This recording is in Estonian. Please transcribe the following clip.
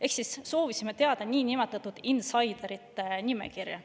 Ehk siis soovisime teada niinimetatud insider'ite nimekirja.